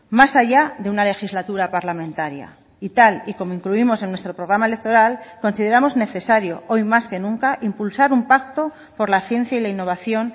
más allá de una legislatura parlamentaria y tal y como incluimos en nuestro programa electoral consideramos necesario hoy más que nunca impulsar un pacto por la ciencia y la innovación